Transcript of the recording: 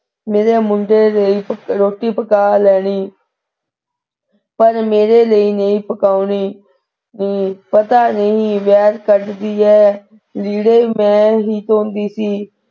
ਮੇਰੇ ਮੁੰਡੇ ਨੇ ਰੋਟੀ ਪਕਾ ਲੈਣੀ ਪਰ ਮੇਰੇ ਲਈ ਨਹੀ ਪਕਾਉਣੀ, ਪਤਾ ਨਹੀ ਵੈਰ ਕੱਢਦੀ ਹੈ ਲੀੜ੍ਹੇ ਮੈਂ ਹੀ ਧੋਂਦੀ ਸੀ।